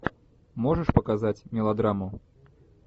можешь показать мелодраму